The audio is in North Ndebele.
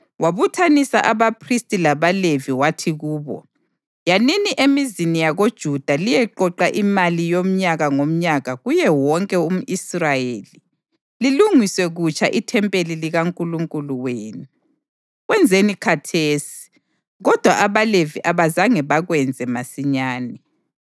Wabuthanisa abaphristi labaLevi wathi kubo: “Yanini emizini yakoJuda liyeqoqa imali yomnyaka ngomnyaka kuye wonke umʼIsrayeli, lilungiswe kutsha ithempeli likaNkulunkulu wenu. Kwenzeni khathesi.” Kodwa abaLevi abazange bakwenze masinyane.